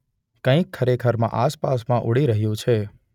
કંઇક ખરેખરમાં આસપાસમાં ઉડી રહ્યું છે.